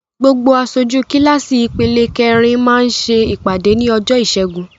Gbogbo aṣojú kíláàsì ìpele kẹrin máa ṣe ìpàdé ní ọjọ́ ìṣẹ́gun.